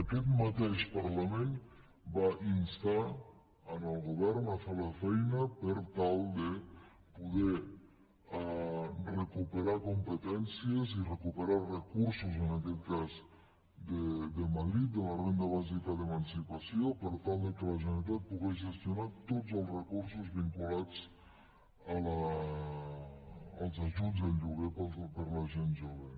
aquest mateix parlament va instar el govern a fer la feina per tal de poder recuperar competències i recuperar recursos en aquest cas de madrid de la renda bàsica d’emancipació per tal que la generalitat pogués gestionar tots els recursos vinculats als ajuts al lloguer per a la gent jove